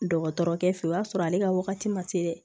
Dɔgɔtɔrɔkɛ fɛ o y'a sɔrɔ ale ka wagati ma se dɛ